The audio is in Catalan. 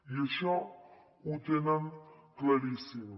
i això ho tenen claríssim